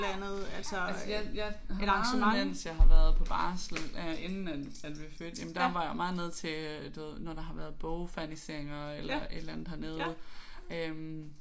Altså jeg jeg har været vant til når jeg har været på barsel øh inden at at vi fødte jamen der har jeg jo været meget hernede til du ved når der har været bogferniseringer eller et eller andet hernede øh